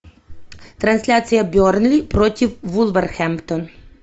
трансляция бернли против вулверхэмптон